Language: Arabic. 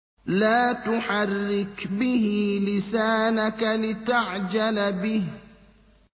لَا تُحَرِّكْ بِهِ لِسَانَكَ لِتَعْجَلَ بِهِ